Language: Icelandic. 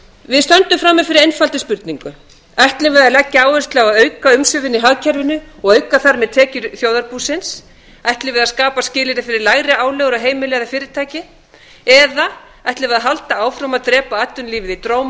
við stöndum frammi fyrir einfaldri spurningu ætlum við að langa áherslu á að auka umsvifin í hagkerfinu og auka þar með tekjur þjóðarbúsins ætlum við að skapa skilyrði fyrir lægri álögur á heimili eða fyrirtæki eða ætlum við að halda áfram að drepa atvinnulífið í dróma